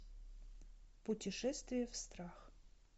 путешествие в страх